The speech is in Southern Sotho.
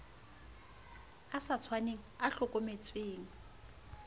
a sa tshwaneng a hlokometseng